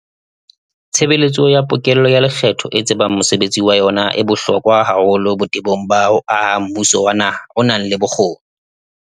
Tshebeletso ya pokello ya lekgetho e tsebang mosebetsi wa yona e bohlokwa haholo botebong ba ho aha mmuso wa naha o nang le bokgoni.